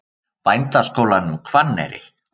Bændaskólanum Hvanneyri